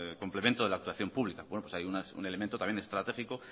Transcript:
complemento de la actuación pública hay un elemento también estratégico